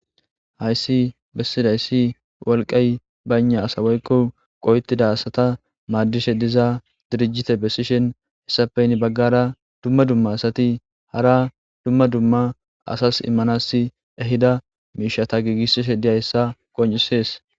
Hayssi bessidayssi wolqay baynna asawoykko qoyetida asata maaddishe diza dirijite bessishen hessapeyn baggara dumma dumma asati hara dumma dumma asas immanas ehida miishata giigissishe diyayssa qoncisees.